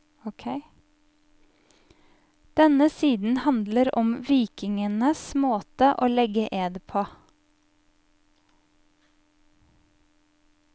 Denne siden handler om vikingenes måte å legge ed på.